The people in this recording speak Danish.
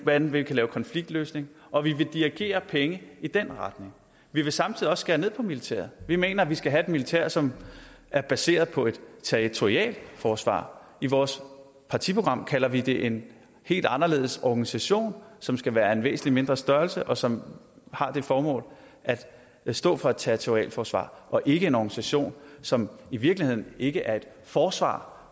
hvordan vi kan lave konfliktløsning og vi vil dirigere penge i den retning vi vil samtidig også skære ned på militæret vi mener vi skal have et militær som er baseret på et territorialforsvar i vores partiprogram kalder vi det en helt anderledes organisation som skal være af en væsentlig mindre størrelse og som har det formål at stå for et territorialforsvar og ikke en organisation som i virkeligheden ikke er et forsvar